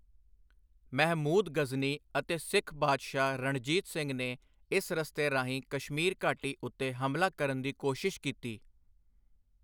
ਮਹਿਮੂਦ ਗ਼ਜ਼ਨੀ ਅਤੇ ਸਿੱਖ ਬਾਦਸ਼ਾਹ ਰਣਜੀਤ ਸਿੰਘ ਨੇ ਇਸ ਰਸਤੇ ਰਾਹੀਂ ਕਸ਼ਮੀਰ ਘਾਟੀ ਉੱਤੇ ਹਮਲਾ ਕਰਨ ਦੀ ਕੋਸ਼ਿਸ਼ ਕੀਤੀ।